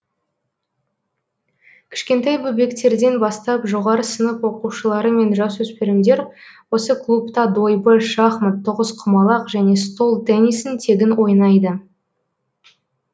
кішкентай бөбектерден бастап жоғары сынып оқушылары мен жасөспірімдер осы клубта дойбы шахмат тоғызқұамалқ және стол теннисін тегін ойнайды